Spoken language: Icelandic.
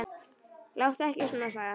Láttu ekki svona, sagði hann.